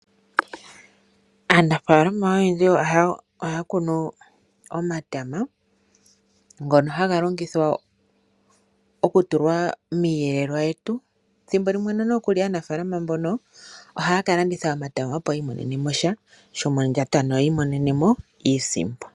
Aanafaalama oyendji ohaya kunu omatama ngono haga longithwa okutulwa miiyelelwa yetu, thimbolimwe nokuli aanafaalama mbono ohaya kalanditha omatama, opo yi imonene mosha shomondjato ano ya imonene mo iisimpo.